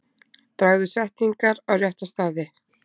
Dragðu setningar á rétta staði.